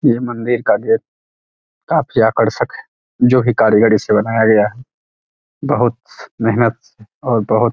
ये मंदिर का गेट काफी आकर्षक है जो की कारीगरी से बनाया गया है बहुत मेहनत और बहुत --